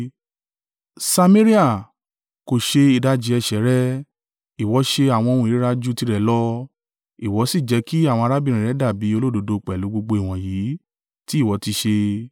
Samaria kò ṣe ìdajì ẹ̀ṣẹ̀ rẹ. Ìwọ ṣe àwọn ohun ìríra ju tirẹ̀ lọ, ìwọ sì jẹ kí àwọn arábìnrin rẹ dàbí olódodo pẹ̀lú gbogbo ìwọ̀nyí tí ìwọ ti ṣe.